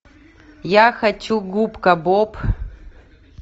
я хочу губка боб